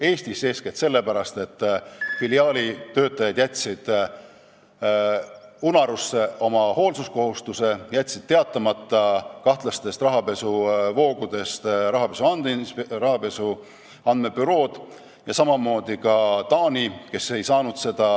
Eestis eeskätt sellepärast, et filiaali töötajad jätsid unarusse oma hoolsuskohustuse, jätsid rahapesu andmebüroole teatamata kahtlastest rahapesuvoogudest.